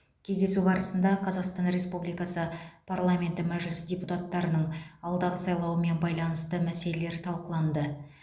кездесу барысында қазақстан республикасы парламенті мәжілісі депутаттарының алдағы сайлауымен байланысты мәселелер талқыланды